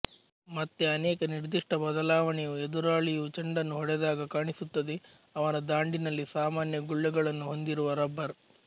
ಮತ್ತೆ ಅನೇಕ ನಿರ್ದಿಷ್ಟ ಬದಲಾವಣೆಯು ಎದುರಾಳಿಯು ಚೆಂಡನ್ನು ಹೊಡೆದಾಗ ಕಾಣಿಸುತ್ತದೆ ಅವನ ದಾಂಡಿನಲ್ಲಿ ಸಾಮಾನ್ಯ ಗುಳ್ಳೆಗಳನ್ನು ಹೊಂದಿರುವ ರಬ್ಬರ್